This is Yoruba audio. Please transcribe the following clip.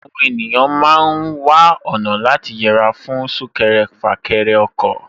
Àwọn ènìyàn ma ń wá ọ̀nà láti yẹra fún súnkẹrẹ fàkẹrẹ ọkọ̀